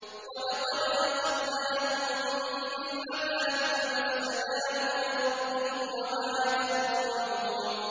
وَلَقَدْ أَخَذْنَاهُم بِالْعَذَابِ فَمَا اسْتَكَانُوا لِرَبِّهِمْ وَمَا يَتَضَرَّعُونَ